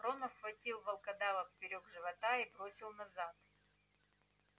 рон обхватил волкодава поперёк живота и бросил назад